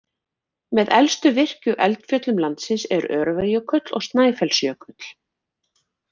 Með elstu virku eldfjöllum landsins eru Öræfajökull og Snæfellsjökull.